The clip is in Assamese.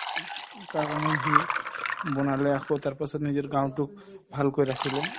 কাৰণে সি বনালে আকৌ তাৰপাছত নিজৰ গাওঁতোক ভালকৈ ৰাখিলে